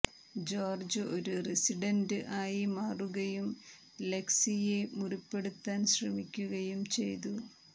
George ഒരു resident ആയി മാറുകയും ലെക്സിയെ മുറിപ്പെടുത്താൻ ശ്രമിക്കുകയും ചെയ്തു